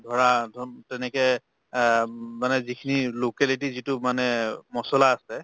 ধৰা অব তেনেকে আহ মানে যি খিনি locality যিটো মানে মচলা আছে